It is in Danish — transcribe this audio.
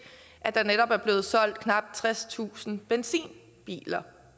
at der er blevet solgt knap tredstusind benzinbiler